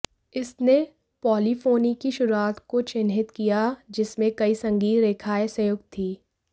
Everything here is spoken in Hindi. इसने पॉलीफोनी की शुरुआत को चिह्नित किया जिसमें कई संगीत रेखाएं संयुक्त थीं